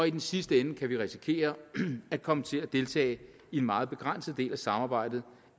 i den sidste ende kan vi risikere at komme til at deltage i en meget begrænset del af samarbejdet